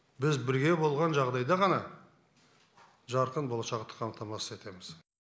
біз бірге болған жағдайда ғана жарқын болашақты қамтамасыз етеміз